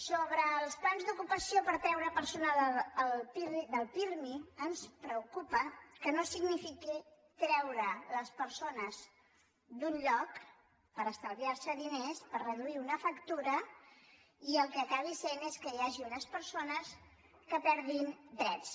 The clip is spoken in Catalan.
sobre els plans d’ocupació per treure persones del pirmi ens preocupa que no signifiquin treure les persones d’un lloc per estalviar se diners per reduir una factura i el que acabi sent és que hi hagi unes persones que perdin drets